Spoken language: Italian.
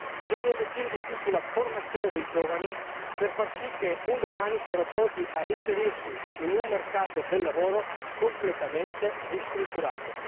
Bisogna investire di più sulla formazione dei giovani per far sì che un domani siano pronti a inserirsi in un mercato del lavoro completamente ristrutturato.